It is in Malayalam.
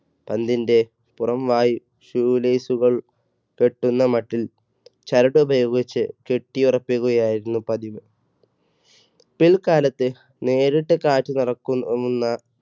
പന്തിന്റെ പുറം വായ് shoe lace കൾ കെട്ടുന്ന മട്ടിൽ ചരട് ഉപയോഗിച്ച് കെട്ടിയുറപ്പിക്കുകയായിരുന്നു പതിവ്, പിൽക്കാലത്ത് നേരിട്ട് കാറ്റ് നിറയ്ക്കുന്ന~ന്ന